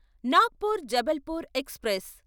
Nagpur Jabalpur express